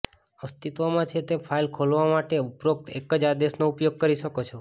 અસ્તિત્વમાં છે તે ફાઇલ ખોલવા માટે ઉપરોક્ત એક જ આદેશનો ઉપયોગ કરી શકો છો